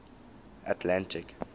atlantic